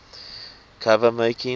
cover making